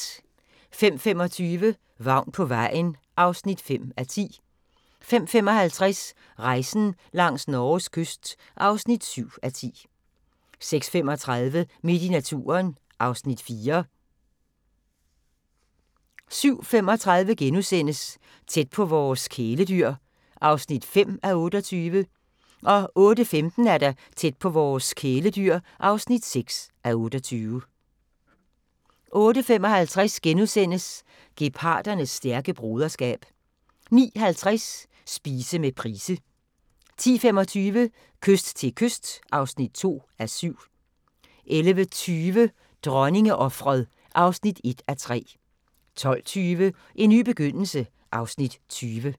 05:25: Vagn på vejen (5:10) 05:55: Rejsen langs Norges kyst (7:10) 06:35: Midt i naturen (Afs. 4) 07:35: Tæt på vores kæledyr (5:28)* 08:15: Tæt på vores kæledyr (6:28) 08:55: Geparders stærke broderskab * 09:50: Spise med Price 10:25: Kyst til kyst (2:7) 11:20: Dronningeofret (1:3) 12:20: En ny begyndelse (Afs. 20)